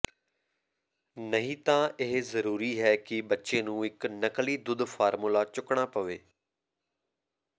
ਨਹੀਂ ਤਾਂ ਇਹ ਜ਼ਰੂਰੀ ਹੈ ਕਿ ਬੱਚੇ ਨੂੰ ਇਕ ਨਕਲੀ ਦੁੱਧ ਫਾਰਮੂਲਾ ਚੁੱਕਣਾ ਪਵੇ